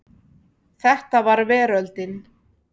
Þetta var veröldin.